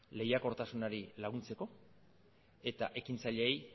lehiakortasunari laguntzeko eta ekintzaileei